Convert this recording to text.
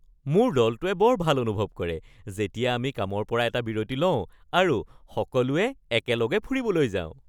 মোৰ দলটোৱে বৰ ভাল অনুভৱ কৰে যেতিয়া আমি কামৰ পৰা এটা বিৰতি লওঁ আৰু সকলোৱে একেলগে ফুৰিবলৈ যাওঁ ।